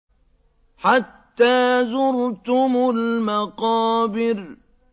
حَتَّىٰ زُرْتُمُ الْمَقَابِرَ